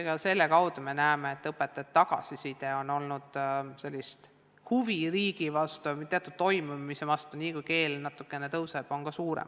Ka selle kaudu me näeme, et õpetajate tagasiside on hea ja ka huvi riigi toimimise vastu on selliste sammude kaudu suurem.